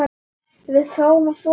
Við fáum að sofa þarna.